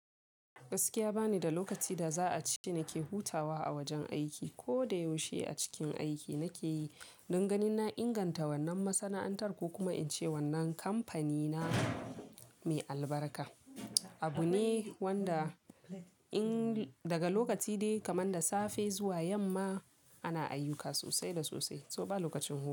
Gaskiya bani da lokaci da za a ce nake hutawa a wajen aiki. Ko da yaushe a cikin aiki nake yi, danganin na inganta wannan masana'antar ko kuma in ce wannan kamfanina mai albarka. Abu ne wanda in daga lokaci dai kamar da safe zuwa yamma ana ayyuka sosai da sosai, to ba lokacin hutu.